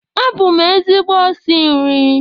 Abụ m ezigbo osi nri